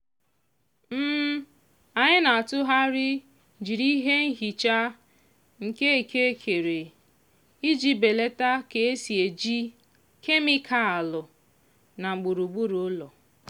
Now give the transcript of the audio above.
anyị na-atụgharị jiri ihe nhicha nke eke kere iji belata ka e si eji kemịkalụ na gburugburu ụlọ.